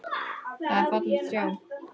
Það var fallegt að sjá.